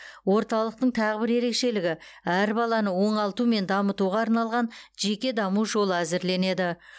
орталықтың тағы бір ерекшелігі әр баланы оңалту мен дамытуға арналған жеке даму жолы әзірленеді